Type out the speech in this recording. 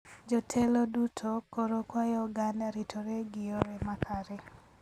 Jotelo duto koro kwayo oganda ritore gi yore ma kare